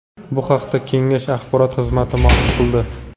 Bu haqda kengash axborot xizmati ma’lum qildi .